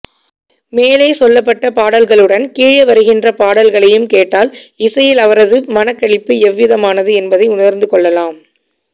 மேலே சொல்லப்பட்ட பாடல்களுடன் கீழே வருகின்ற பாடல்களையும் கேட்டால் இசையில் அவரது மனக்களிப்பு எவ்விதமானது என்பதை உணர்ந்து கொள்ளலாம்